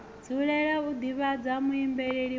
dzulela u ḓivhadza muambeli wa